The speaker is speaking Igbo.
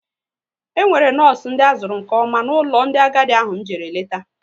E nwere nọọsụ ndị azuru nke ọma n'ụlọ ndị agadi ahụ m jere leta